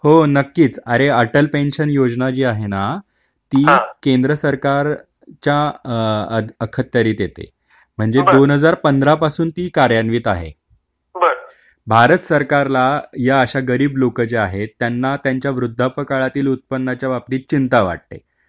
हो नक्कीच अरे अटल पेन्शन योजना जी आहे ना , ती केंद्र सरकारच्या अखत्यारीत येते म्हणजेच दोन हजार पंधरा पासून ती कार्यान्वित आहे. भारत सरकारला या अशा गरीब लोक जे आहेत त्यांना त्यांच्या वृद्धापकाळातील उत्पन्नाच्या बाबतीत चिंता वाटते.